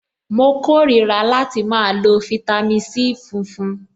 Mo kórìíra láti máa lo fitami C funfun.